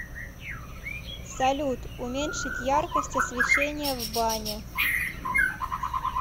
салют уменьшить яркость освещения в бане